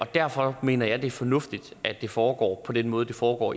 derfor mener jeg at det er fornuftigt at det foregår på den måde det foregår